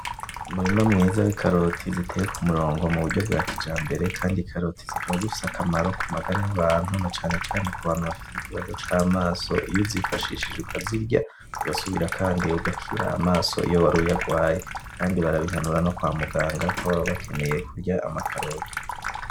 Umurima mwiza w'ikaroti ziteye ku murongo muburyo bwa kijambere, kandi ikaroti zikaba zifise akamaro ku magara y'abantu na cane cane kubantu bafise ikibazo c'amaso. Iyo uzifashishije ukazirya urasubira kandi ugakira amaso iyo wari uyagwaye. Kandi barabihanura no kwa muganga kuko baba bakeneye ko urya ayo makaroti.